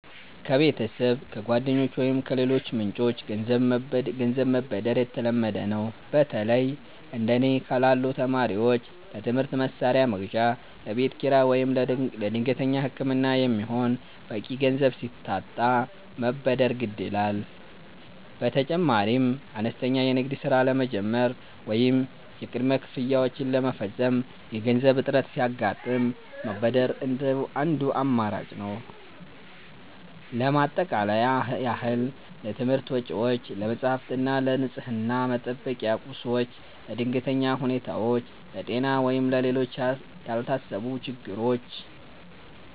ከቤተሰብ፣ ከጓደኞች ወይም ከሌሎች ምንጮች ገንዘብ መበደር የተለመደ ነው። በተለይ እንደ እኔ ላሉ ተማሪዎች ለትምህርት መሣሪያ መግዣ፣ ለቤት ኪራይ ወይም ለድንገተኛ ሕክምና የሚሆን በቂ ገንዘብ ሲታጣ መበደር ግድ ይላል። በተጨማሪም አነስተኛ የንግድ ሥራ ለመጀመር ወይም የቅድመ ክፍያዎችን ለመፈጸም የገንዘብ እጥረት ሲያጋጥም መበደር አንዱ አማራጭ ነው። ለማጠቃለያ ያህል: ለትምህርት ወጪዎች፦ ለመጻሕፍት እና ለንፅህና መጠበቂያ ቁሶች። ለድንገተኛ ሁኔታዎች፦ ለጤና ወይም ለሌሎች ያልታሰቡ ችግሮች።